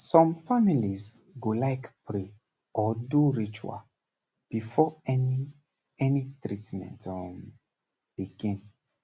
some families go like pray or do ritual before any any treatment um begin